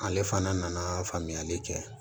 Ale fana nana faamuyali kɛ